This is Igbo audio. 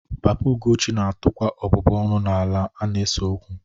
Papa Ugochi na-atụkwa ọbụbụ ọnụ n'ala a na-ese okwu